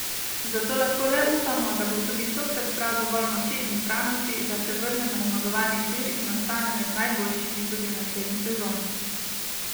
Zato lahko le upamo, da bo tudi tokrat zbral dovolj moči in zbranosti, da se vrne na zmagovalni tir in ostane med najboljšimi tudi v naslednji sezoni.